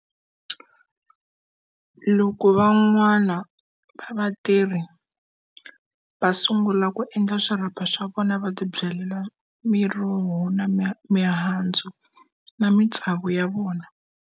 Loko van'wana va vatirhi va sungula ku endla swirapha swa vona va tibyalela miroho, na mi mihandzu, na matsavu ya vona.